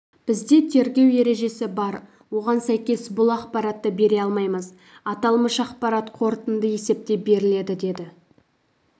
бізде тергеу ережесі бар оған сәйкес бұл ақпаратты бере алмаймыз аталмыш ақпарат қорытынды есепте беріледі деді